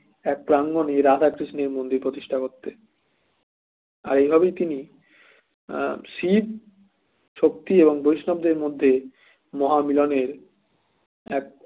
এক প্রাঙ্গণে রাধা কৃষ্ণের মন্দির প্রতিষ্ঠা করতে আর এভাবেই তিনি শিব শক্তি এবং বৈষ্ণবদের মধ্যে মহামিলনের এক